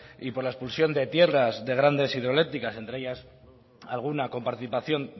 y por la expulsión de tierras de grandes hidroeléctricas entre ellas alguna con participación